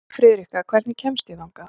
Friðrikka, hvernig kemst ég þangað?